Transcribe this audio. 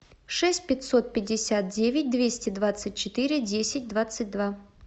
шесть пятьсот пятьдесят девять двести двадцать четыре десять двадцать два